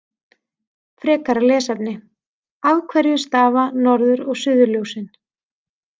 Frekara lesefni: Af hverju stafa norður- og suðurljósin?